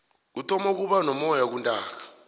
kuthoma ukuba nomoyana kuntaaka